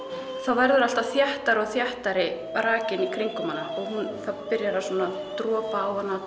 verður alltaf þéttari og þéttari rakinn í kringum hana það byrjar svona að dropa á hana